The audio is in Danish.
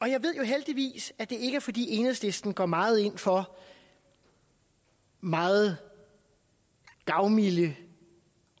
jeg ved heldigvis at det ikke er fordi enhedslisten går meget ind for meget gavmilde